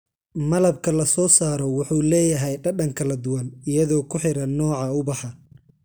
Malabka la soo saaro wuxuu leeyahay dhadhan kala duwan iyadoo ku xiran nooca ubaxa.